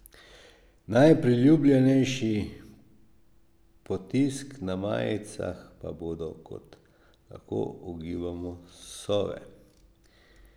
Najpriljubljenejši potisk na majicah pa bodo, kot lahko ugibamo, sove.